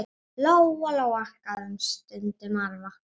Lóa-Lóa gaf þeim stundum arfa.